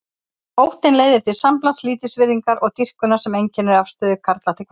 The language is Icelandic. Óttinn leiðir til samblands lítilsvirðingar og dýrkunar sem einkennir afstöðu karla til kvenna.